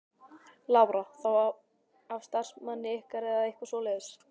Lára: Þá af starfsmanni ykkar eða eitthvað svoleiðis?